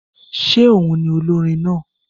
Ṣé òhun ni olórin náà?